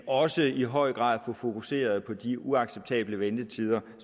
også i høj grad få fokuseret på de uacceptable ventetider